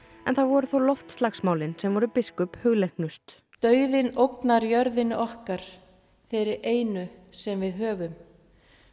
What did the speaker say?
en það voru þó loftslagsmálin sem voru biskup hugleiknust dauðinn ógnar jörðinni okkar þeirri einu sem við höfum